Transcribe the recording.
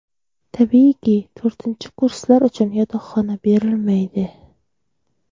Tabiiyki, to‘rtinchi kurslar uchun yotoqxona berilmaydi.